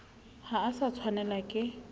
ha o sa tshwanelwa ke